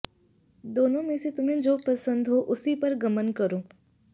दोनों में से तुम्हें जो पसन्द हो उसी पर गमन करो